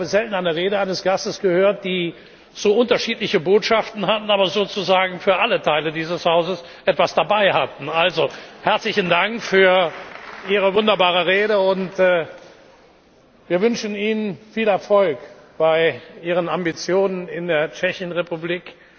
Ich habe selten eine Rede eines Gastes gehört, die so unterschiedliche Botschaften hatte, aber sozusagen für alle Teile dieses Hauses etwas dabei hatte. Herzlichen Dank für Ihre wunderbare Rede, und wir wünschen Ihnen viel Erfolg bei Ihren Ambitionen in der Tschechischen Republik!